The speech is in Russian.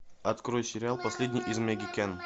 открой сериал последний из магикян